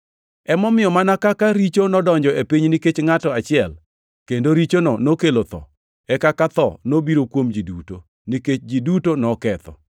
Emomiyo mana kaka richo nodonjo e piny nikech ngʼato achiel, kendo richono nokelo tho; e kaka tho nobiro kuom ji duto, nikech ji duto noketho,